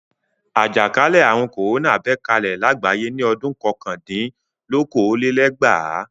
Àjàkálẹ̀ àrùn kòrónà bẹ́ kalẹ̀ lágbàáyé ní ọdún kọkàndínlókòólélẹ́gbàá.